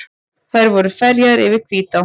Þeir voru ferjaðir yfir Hvítá.